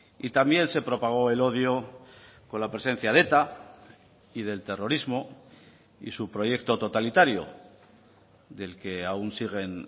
y también se propagó el odio con la presencia de eta y del terrorismo y su proyecto totalitario del que aún siguen